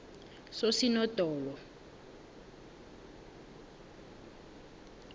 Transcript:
sosinondolo